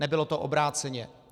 Nebylo to obráceně.